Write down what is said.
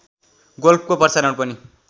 गोल्फको प्रसारण पनि